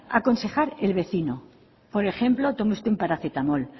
aconsejar el vecino por ejemplo tómese usted un paracetamol